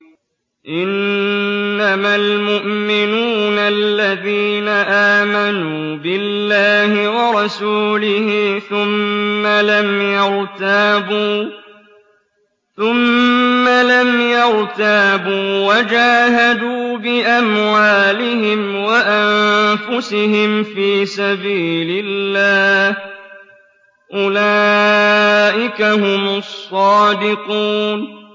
إِنَّمَا الْمُؤْمِنُونَ الَّذِينَ آمَنُوا بِاللَّهِ وَرَسُولِهِ ثُمَّ لَمْ يَرْتَابُوا وَجَاهَدُوا بِأَمْوَالِهِمْ وَأَنفُسِهِمْ فِي سَبِيلِ اللَّهِ ۚ أُولَٰئِكَ هُمُ الصَّادِقُونَ